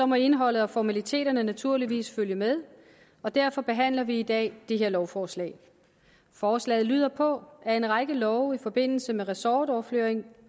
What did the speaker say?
må indholdet og formaliteterne naturligvis følge med og derfor behandler vi i dag det her lovforslag forslaget lyder på at en række love i forbindelse med ressortoverflytningen